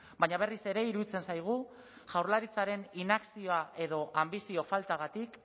baina berriz ere iruditzen zaigu jaurlaritzaren inakzioa edo anbizio faltagatik